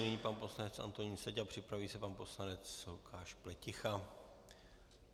Nyní pan poslanec Antonín Seďa, připraví se pan poslanec Lukáš Pleticha.